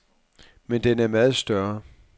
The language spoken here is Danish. Men den er meget større.